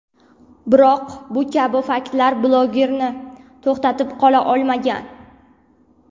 Biroq bu kabi faktlar bloglerni to‘xtatib qola olmagan.